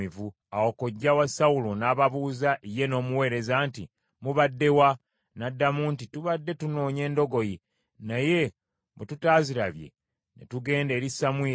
Awo kojja wa Sawulo n’ababuuza ye n’omuweereza nti, “Mubadde wa?” N’addamu nti, “Tubadde tunoonya endogoyi, naye bwe tutaazirabye, ne tugenda eri Samwiri.”